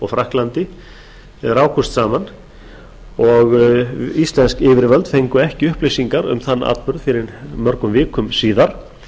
frakklandi rákust þaðan og íslensk yfirvöld fengu ekki upplýsingar um þann atburð fyrr en mörgum vikum síðar